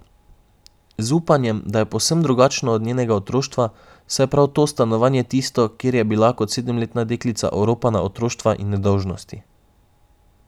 Z upanjem, da je povsem drugačno od njenega otroštva, saj je prav to stanovanje tisto, kjer je bila kot sedemletna deklica oropana otroštva in nedolžnosti.